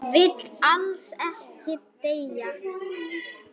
Vill alls ekki deyja.